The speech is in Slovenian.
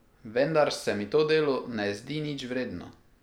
Vendar se mi to delo ne zdi nič vredno.